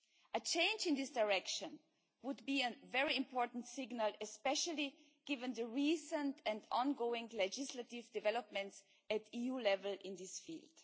A change in this direction would send a very important signal, especially given the recent and ongoing legislative developments at EU level in this field.